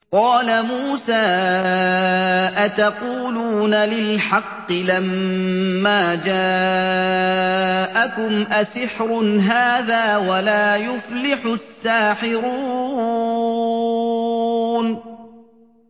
قَالَ مُوسَىٰ أَتَقُولُونَ لِلْحَقِّ لَمَّا جَاءَكُمْ ۖ أَسِحْرٌ هَٰذَا وَلَا يُفْلِحُ السَّاحِرُونَ